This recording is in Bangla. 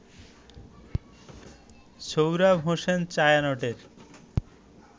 সোহরাব হোসেন ছায়ানটের